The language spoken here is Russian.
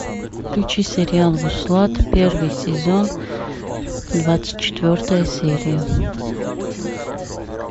включи сериал вуслат первый сезон двадцать четвертая серия